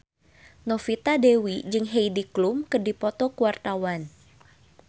Novita Dewi jeung Heidi Klum keur dipoto ku wartawan